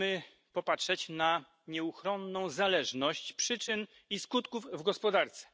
Musimy popatrzeć na nieuchronną zależność przyczyn i skutków w gospodarce.